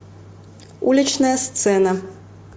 уличная сцена